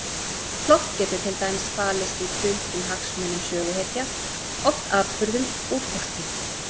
Plott getur til dæmis falist í duldum hagsmunum söguhetja, oft atburðum úr fortíð.